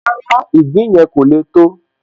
Rárá, ìgbín yẹn kò le tó